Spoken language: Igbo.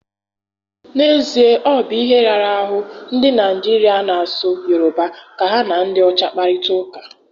N'ezie, ọ bu ihe rara ahụ ndị Naijiria na-asụ Yoruba ka ha na ndị ọcha kparịta ụka.